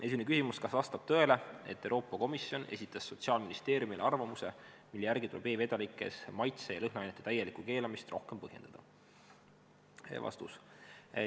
Esimene küsimus: "Kas vastab tõele, et Euroopa Komisjon esitas Sotsiaalministeeriumile arvamuse, mille järgi tuleb e-vedelikes maitse- ja lõhnaainete täielikku keelamist rohkem põhjendada?